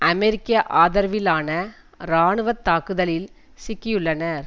அமெரிக்க ஆதரவிலான இராணுவ தாக்குதலில் சிக்கியுள்ளன